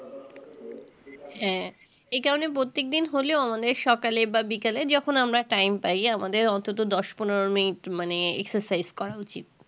হ্যাঁ এই কারণে প্রত্যেকদিন হলেও অনেক সকালে বা বিকালে যখন আমরা time পাই আমাদের অন্তত দশ পনেরো মিনিট মানে exercise করা উচিত